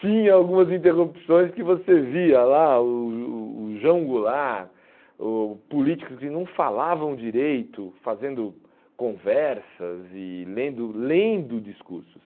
Tinha algumas interrupções que você via lá, o o o João Goulart, ou políticos que não falavam direito, fazendo conversas e lendo lendo discursos.